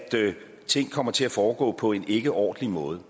ting kommer til at foregå på en ikkeordentlig måde